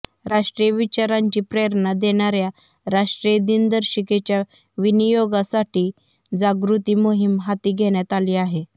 राष्ट्रीय विचारांची प्रेरणा देणाऱया राष्ट्रीय दिनदर्शिकेच्या विनीयोगासाठी जागृती मोहीम हाती घेण्यात आली आहे